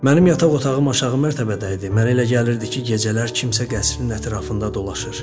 Mənim yataq otağım aşağı mərtəbədə idi, mənə elə gəlirdi ki, gecələr kimsə qəsrin ətrafında dolaşır.